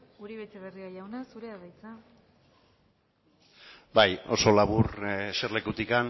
uribe etxebarria jauna zurea da hitza bai oso labur eserlekutik